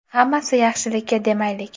Hammasi yaxshi demaylik.